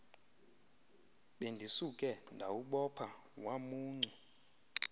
bendisuke ndawubopha wamuncu